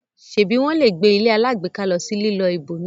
ṣebi wón lẹ gbé ilé alágbèéká ló sì lilọ ibòmíràn?